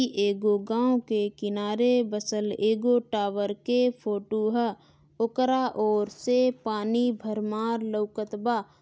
इ एगो गाव के किनारे बसल एगो टावर के फोटो है ओकरा ओर से पानी भरमार लउकत बा।